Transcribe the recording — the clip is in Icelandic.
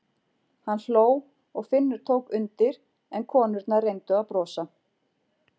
Hann hló og Finnur tók undir en konurnar reyndu að brosa.